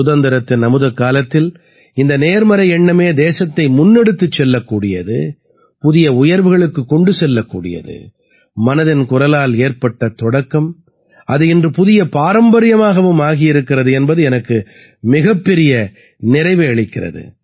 சுதந்திரத்தின் அமுதக்காலத்தில் இந்த நேர்மறை எண்ணமே தேசத்தை முன்னெடுத்துச் செல்லக் கூடியது புதிய உயர்வுகளுக்குக் கொண்டு செல்லக்கூடியது மனதின் குரலால் ஏற்பட்ட தொடக்கம் அது இன்று புதிய பாரம்பரியமாகவும் ஆகியிருக்கிறது என்பது எனக்கு மிகப்பெரிய நிறைவை அளிக்கிறது